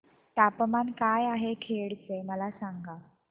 तापमान काय आहे खेड चे मला सांगा